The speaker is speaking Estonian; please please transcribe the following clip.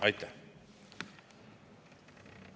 Aitäh!